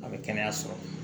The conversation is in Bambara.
A bɛ kɛnɛya sɔrɔ